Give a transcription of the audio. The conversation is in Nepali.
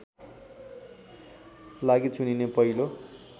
लागि चुनिने पहिलो